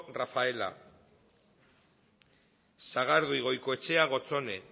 rafaela sagardui goikoetxea gotzone